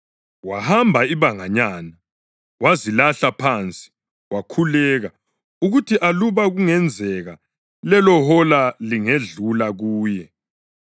Wahamba ibanganyana, wazilahla phansi wakhuleka ukuthi aluba kungenzeka lelohola lingedlula kuye.